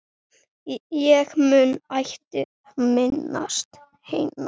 Ég mun ætíð minnast hennar.